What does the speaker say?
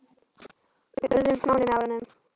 Við urðum nánir með árunum.